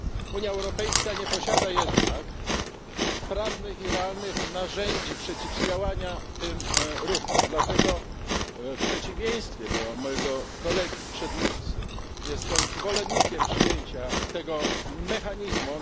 Unia Europejska nie posiada jednak sprawnych i realnych narzędzi przeciwdziałania tym ruchom, dlatego w przeciwieństwie do mojego kolegi przedmówcy jestem zwolennikiem przyjęcia tego mechanizmu.